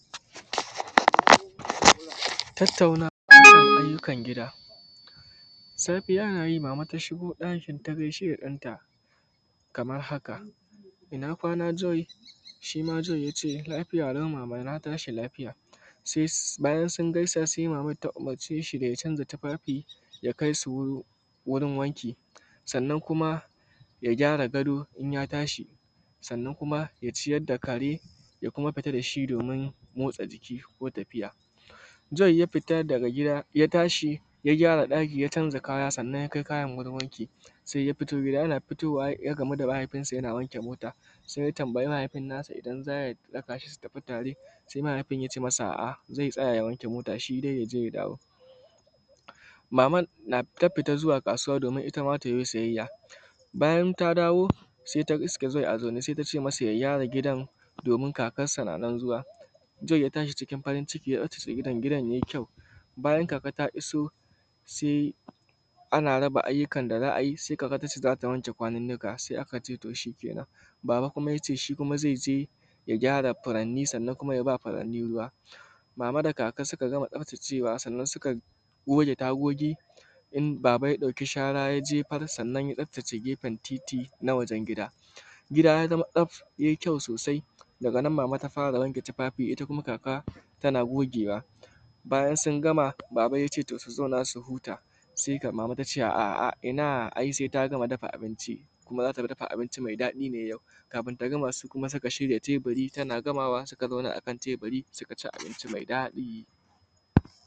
Tattaunawa harkan gida. Safiya nayi mama ta shigo ɗakin ta gaishe da ɗanta kamar haka ina gwana Joy? Shi ma Joy ya ce lafiyalau mama na tashi lafiya se bayan sun gaisa se maman ta umurce shi da ya canza tufafi ya kai su wurin wanki sannan kuma ya gyara gado in ya tashi sannan kuma ya ciyar da kare ya kuma fita da shi domin motsa jiki ko tafiya. Joy ya fita daga gida ya tashi ya gyara ɗaki ya canza kaya, sannan ya kai kayan wurin wanki se ya fito yana fitowa ya gamu da mahaifinsa yana wanke mota, se ya tambayi babanasa idan za su tafi tare, se mahaifin nasa ya ce masa a’a ze tsaya ya wanke motanshi, se ya je ya dawo. Maman ta fita zuwa kasuwa domin ita ma ta yo siyayya, bayan ta dawo se ta iske Joy a zaune se ta ce masa ya gyara gidan domin kakansa na nan zuwa, Joy ya tashi cikin farin ciki ya kintsa gindan ya yi kyau bayan kakan ta iso se ana raba ayyukan da za a yi, se kakan ce za ta wanke gwaninnika, se aka ce to shi kenan, baba kuma ya ce shi zai je ya gyara furanni ya sannan kuma ya ba faranni ruwa. Mama da kaka suka gama tsaftacewa sannan suka goge tagogi, baba ya ɗauki shara ya jebar, sannan ya tsaftace gefen titi na wajen gida gida ya zama tsaf ya yi kyau sosai daga nan mama ta fara wanke tufafi, ita kuma kaka tana gogewa bayan sun gama baba ya ce to su zauna su huta, se mama ta ce a ina ai se ta ma dafa abinci kuma za ta dafa abunci me daɗi ne yau. Kafin ta gama, su kuma suka shirya teburi tana gamawa suka zauna akan teburi suka ci abinci me daɗi.